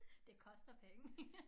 Det koster penge